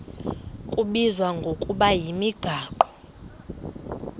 kubizwa ngokuba yimigaqo